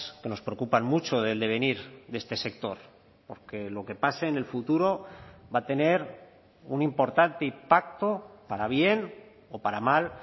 que nos preocupan mucho del devenir de este sector porque lo que pase en el futuro va a tener un importante impacto para bien o para mal